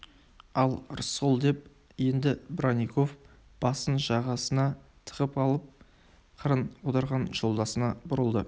ал рысқұл деп енді бронников басын жағасына тығып алып қырын отырған жолдасына бұрылды